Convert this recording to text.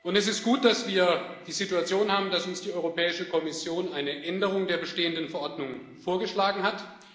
Es ist gut, dass wir die Situation haben, dass uns die Europäische Kommission eine Änderung der bestehenden Verordnung vorgeschlagen hat.